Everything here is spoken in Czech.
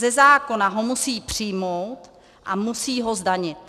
Ze zákona ho musí přijmout a musí ho zdanit.